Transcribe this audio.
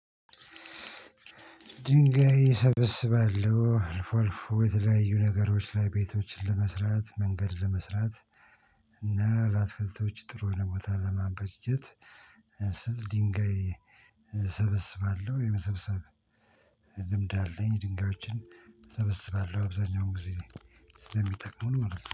ድንጋይ እሰብስባለሁ አልፎ አልፎ የተለያዩ ነገሮች ላይ ቤቶችን ለመስራት መንገድ ለመስራት እና ላትክልቶች ጥሩ የሆነ ቦታ ለማበጀት ስል ድንጋይ ሰበስባለሁ የመሰብሰብ ልምድ አለኝ። ድንጋዮችን እሰበስባለሁ አብዛኛውን ጊዜ ስለሚጠቅሙን ማለት ነው